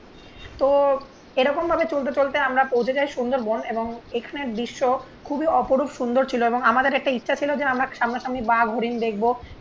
তো এরকম ভাবে চলতে চলতে আমরা পৌঁছে যাই সুন্দরবন এবং দৃশ্য খুবই অপরূপ সুন্দর ছিল এবং আমাদের একটা ইচ্ছা ছিল যে আমরা সামনাসামনি বাঘ হরিণ দেখবো